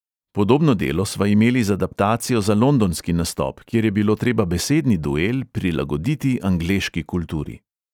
Podobno delo sva imeli z adaptacijo za londonski nastop, kjer je bilo treba besedni duel prilagoditi angleški kulturi.